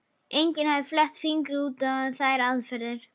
Enginn hafði fett fingur út í þær aðferðir.